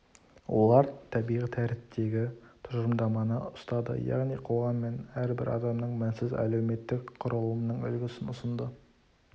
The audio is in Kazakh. олар табиғи тәртіптегі тұжырымдаманы ұстады яғни қоғам мен әрбір адамның мінсіз әлеуметтік құрылымының үлгісін ұсынды